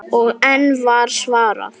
Og enn var svarað